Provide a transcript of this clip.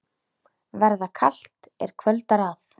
Verða kalt, er kvöldar að.